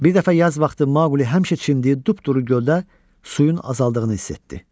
Bir dəfə yaz vaxtı Maqli həmişə çimdiyi dupduru göldə suyun azaldığını hiss etdi.